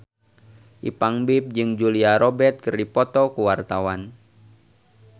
Ipank BIP jeung Julia Robert keur dipoto ku wartawan